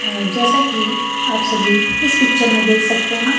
अ जैसा कि आप सभी इस पिक्चर में देख सकते हैं।